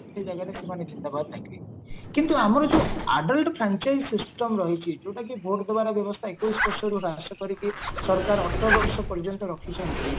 ସେଇ ଜାଗାରେ ସେମାନେ ଜିନ୍ଦବାଦ ଡାକିବେ କିନ୍ତୁ ଆମର ଯୋଉ adult system ରହିଚି ଯୋଉଟା କି ଭୋଟ ଦବାର ବ୍ୟବସ୍ଥା ଏକଉସି ବର୍ଷରୁ ହ୍ରାସ କରିକି ସରକାର ଅଠର ବର୍ଷ ପର୍ଯ୍ୟନ୍ତ ରଖିଛନ୍ତି